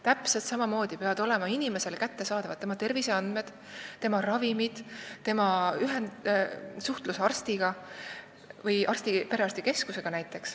Täpselt samamoodi peavad olema inimesele kättesaadavad tema terviseandmed, ravimid ja suhtlus arsti või perearstikeskusega.